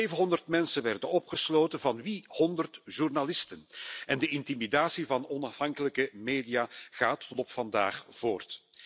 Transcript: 700 mensen werden opgesloten van wie 100 journalisten en de intimidatie van onafhankelijke media gaat tot op de dag van vandaag voort.